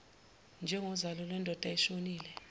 njengozalo lwendoda eshonile